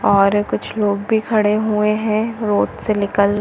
और कुछ लोग भी खड़े हुए है रोड से निकल--